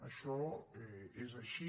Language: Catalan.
això és així